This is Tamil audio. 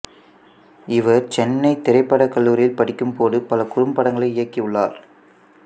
இவர் சென்னைத் திரைப்படக் கல்லூரியில் படிக்கும்போது பல குறும்படங்களை இயக்கியுள்ளார்